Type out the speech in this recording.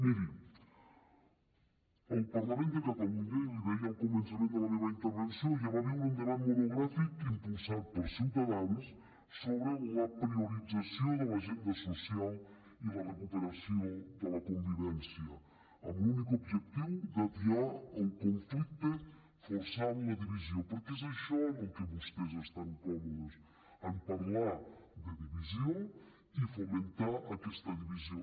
miri el parlament de catalunya i l’hi deia al començament de la meva intervenció ja va viure un debat monogràfic impulsat per ciutadans sobre la priorització de l’agenda social i la recuperació de la convivència amb l’únic objectiu d’atiar el conflicte forçant la divisió perquè és això en el que vostès estan còmodes en parlar de divisió i fomentar aquesta divisió